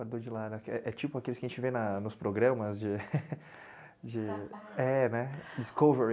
É tipo aqueles que a gente vê nos programas de, é né, de Discovery.